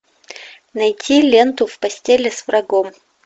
найти ленту в постели с врагом